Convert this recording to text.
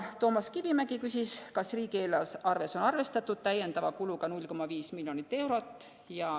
Toomas Kivimägi küsis, kas riigieelarves on arvestatud täiendava kuluga pool miljonit eurot.